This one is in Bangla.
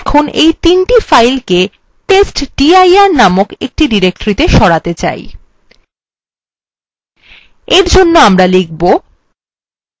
আমরা এখন এই তিনটি files কে testdir নামক একটি directoryত়ে সরাতে চাই